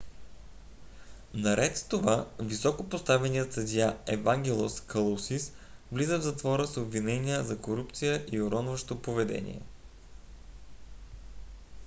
наред с това високопоставеният съдия евангелос калусис влиза в затвора с обвинения за корупция и уронващо поведение